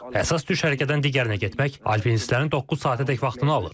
Əsas düşərgədən digərinə getmək alpinistlərin doqquz saatədək vaxtını alır.